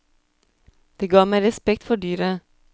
Det ga meg respekt for dyret.